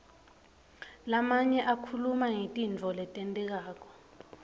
lamanye akhuluma ngetintfo letentekako